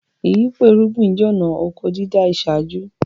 Ìyípo irúgbin jẹ́ ọ̀na ọkọ dídá ìṣáájú